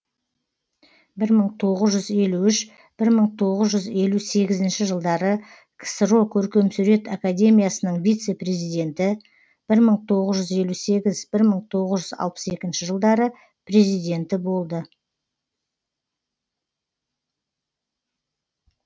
бір мың тоғыз жүз елу үшінші бір мың тоғыз жүз елу сегізінші жылдары ксро көркемсурет академиясының вице президенті бір мың тоғыз жүз елу сегізінші бір мың тоғыз жүз алпыс екінші жылдары президенті болды